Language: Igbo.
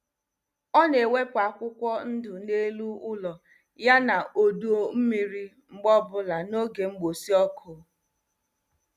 Ọ na-ewepụ akwụkwọ ndụ n'elu ụlọ, yana odo mmiri mgbe ọbụla n'oge mgbụsị ọkụ.